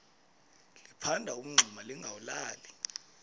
liphanda umngxuma lingawulali